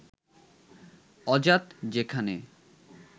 অজাত যেখানে